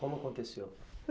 Como aconteceu?